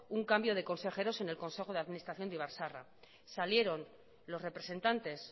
un cambio de consejeros en el consejo de administración de ibar zaharra salieron los representantes